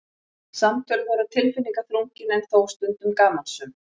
Samtöl voru tilfinningaþrungin en þó stundum gamansöm.